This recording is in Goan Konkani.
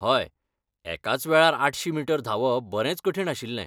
हय, एकाच वेळार आठशी मीटर धांवप बरेंच कठीण आशिल्लें.